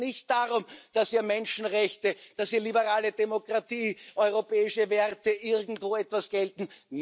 Da geht es nicht darum, dass hier Menschenrechte, dass hier liberale Demokratie, europäische Werte irgendwo etwas gelten.